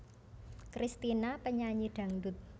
Kristina penyanyi dangdut